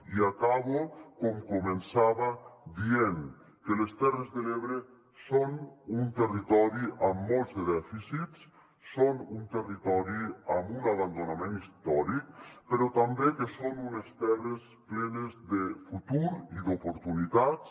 i acabo com començava dient que les terres de l’ebre són un territori amb molts dèficits són un territori amb un abandonament històric però també que són unes terres plenes de futur i d’oportunitats